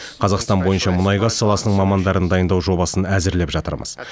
қазақстан бойынша мұнай газ саласының мамандарын дайындау жобасын әзірлеп жатырмыз